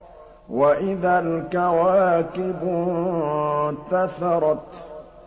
وَإِذَا الْكَوَاكِبُ انتَثَرَتْ